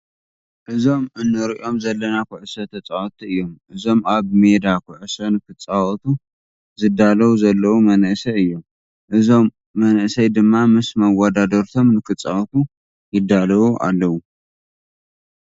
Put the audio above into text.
እዞም እንሪኦም ዘለና ኩዕሶ ተፃወትቲ እዮም። እዞም ኣብ መዴ ኩዕሶ ንክፃወቱ ዝዳለዉ ዘለዉ መናእሰይ እዮም። እዞም መናእሰይ ድማ ምስ መወዳድርቶም ንክፃወቱ ይዳለዉ ኣለዉ።